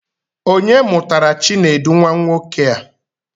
Onye mụtara Chinedu nwa nwoke a?